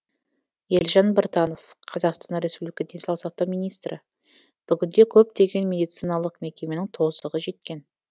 елжан біртанов қр денсаулық сақтау министрі бүгінде көптеген медициналық мекеменің тозығы жеткен